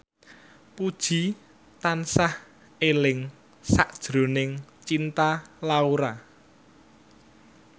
Puji tansah eling sakjroning Cinta Laura